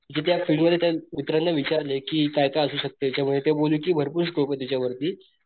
कि ज्या फिल्ड मध्ये त्या मित्रांनी विचारलं कि काय काय असू शकत याच्या मध्ये ते बोलले भरपूर स्कोप त्याच्यावरती,